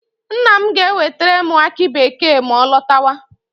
Nna m ga-ewetere m aki bekee ma ọ lọtawa.